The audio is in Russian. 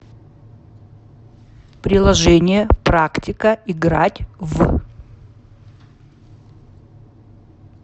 приложение практика играть в